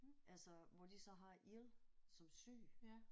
Altså hvor de så har ill som syg